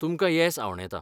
तुमकां येस आंवडेतां.